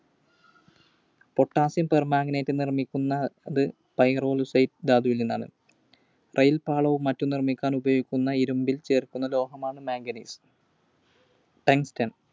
Potassium Permanganate നിർമ്മിക്കുന്നത് Pyrolusite ധാതുവിൽനിന്നാണ്. റയിൽപാളവും മറ്റും നിർമ്മിക്കാൻ ഉപയോഗിക്കുന്ന ഇരുമ്പിൽ ചേർക്കുന്ന ലോഹമാണ് Manganese. Tungsten.